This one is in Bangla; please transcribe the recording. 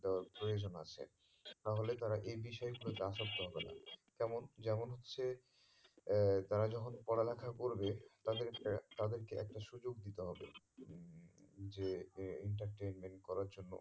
আহ প্রয়োজন আছে তাহলে তারা এই বিষয়ে এর পতি আসক্ত হবে না কেমন যেমন হচ্ছে আহ তারা যখন পড়া লেখা করবে তাদের এ তাদেরকে একটা সুযোগ দিতে হবে যে entertainment করার জন্য